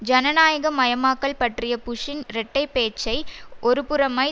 ஜனநாயக மயமாக்கல் பற்றிய புஷ்ஷின் இரட்டை பேச்சை ஒருபுறமாய்